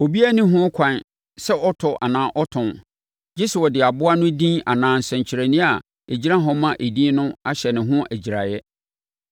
Obiara nni ho ɛkwan sɛ ɔtɔ anaa ɔtɔn, gye sɛ wɔde aboa no din anaa nsɛnkyerɛnneɛ a ɛgyina hɔ ma edin no hyɛ ne ho agyiraeɛ.